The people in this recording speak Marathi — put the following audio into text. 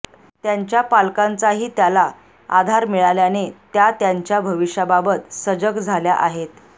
त्यांच्या पालकांचाही त्याला आधार मिळाल्याने त्या त्यांच्या भविष्याबाबत सजग झाल्या आहेत